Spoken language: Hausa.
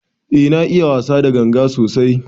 Eh na iya wasa da ganga sosai.